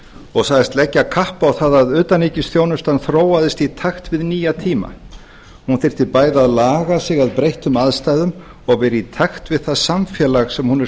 og sagðist leggja kapp á það að utanríkisþjónustan þróaðist í takt við nýja tíma hún þyrfti bæði að laga sig að breyttum aðstæðum og vera í takt við það samfélag sem hún er